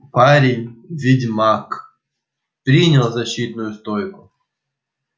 парень ведьмак принял защитную стойку